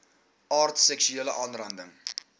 aard seksuele aanranding